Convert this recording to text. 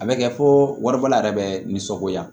A bɛ kɛ fo waribɔla yɛrɛ bɛ nisɔngoya